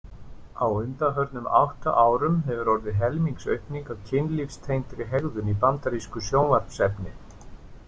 Á undanförnum átta árum hefur orðið helmingsaukning á kynlífstengdri hegðun í bandarísku sjónvarpsefni.